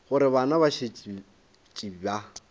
gore bana ba šetše ba